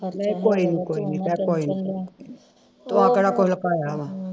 ਨਹੀਂ ਕੋਈ ਨੀ ਕੋਈ ਨੀ ਚੱਲ ਕੋਈ ਨੀ ਤੂੰ ਆਪਣਾ